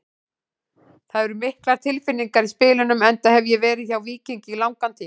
Það eru miklar tilfinningar í spilunum enda hef ég verið hjá Víkingi í langan tíma.